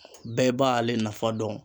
Bɛɛ b'ale nafa dɔn.